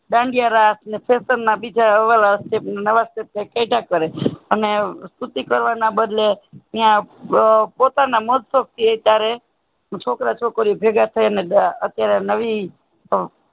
દાંડિયા રાસ ના બીજા નવા અને સ્તુતિ કરવાનાં બદલે પોતાના મોજ શોખ ત્યારે છોકરા છોકરીયો ભેગા થઇ ને અત્યારે નવી